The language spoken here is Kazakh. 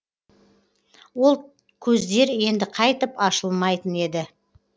ол көздер енді қайтып ашылмайтын еді